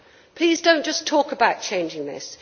Please do not just talk about changing this.